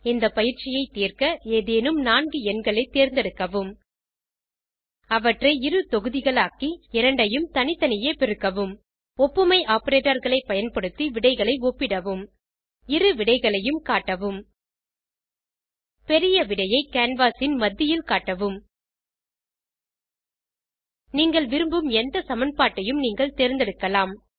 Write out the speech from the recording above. இந்த பயிற்சியைத் தீர்க்க ஏதேனும் நான்கு எண்களை தேர்ந்தெடுக்கவும் அவற்றை இரு தொகுதிகளாக்கி இரண்டையும் தனித்தனியே பெருக்கவும் ஒப்புமை operatorகளை பயன்படுத்தி விடைகளை ஒப்பிடவும் இரு விடைகளையும் காட்டவும் பெரிய விடையை கேன்வாஸ் ன் மத்தியில் காட்டவும் நீங்கள் விரும்பும் எந்த சமன்பாட்டையும் நீங்கள் தேர்ந்தெடுக்கலாம்